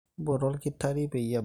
mpoto olkitari peyie ebak